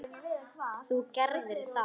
Þú gerðir það.